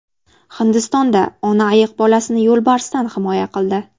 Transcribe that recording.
Hindistonda ona ayiq bolasini yo‘lbarsdan himoya qildi.